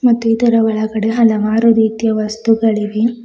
ಮತ್ತು ಇದರ ಒಳಗಡೆ ಹಲವಾರು ರೀತಿಯ ವಸ್ತುಗಳಿವೆ.